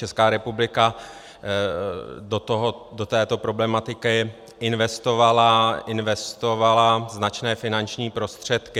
Česká republika do této problematiky investovala značné finanční prostředky.